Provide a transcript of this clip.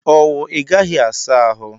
Owu Ị gaghị asa ahụ?